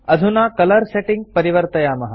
अधुना colour settings परिवर्तयामः